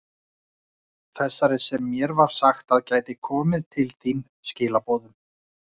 Þessari sem mér var sagt að gæti komið til þín skilaboðum?